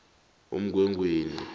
umgwengweni